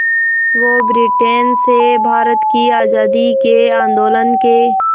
वो ब्रिटेन से भारत की आज़ादी के आंदोलन के